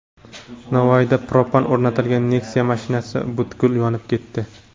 Navoiyda propan o‘rnatilgan Nexia mashinasi butkul yonib ketdi.